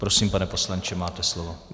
Prosím, pane poslanče, máte slovo.